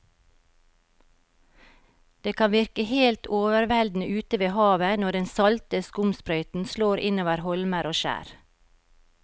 Det kan virke helt overveldende ute ved havet når den salte skumsprøyten slår innover holmer og skjær.